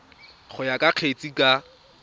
go ya ka kgetse ka